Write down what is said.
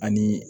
Ani